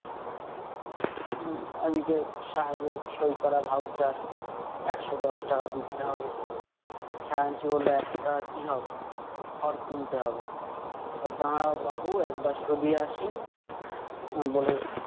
উম অনেকে সাহেবের সই করা voucher একশো দশ টাকা দিতে হবে । খাজাঞ্চি বললো, এতো টাকা কি হবে? খড় কিনতে হবে। কয় দাঁড়াও বাপু, একবার শুধিয়ে আসি । উম বলে